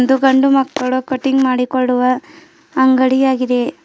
ಇದು ಗಂಡು ಮಕ್ಕಳ ಕಟಿಂಗ್ ಮಾಡಿಕೊಳ್ಳುವ ಅಂಗಡಿಯಾಗಿದೆ.